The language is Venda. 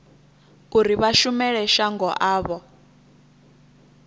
uri vha shumele shango avho